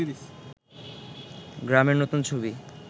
গ্রামের নতুন ছবি